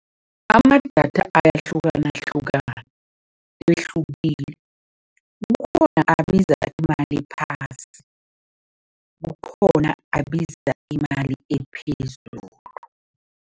Amadatha ayahlukanahlukana kukhona abiza imali ephasi, kukhona abiza imali ephezulu.